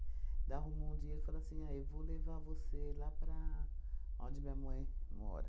Da arrumou um dia ele falou assim, ah, eu vou levar você lá para aonde minha mãe mora.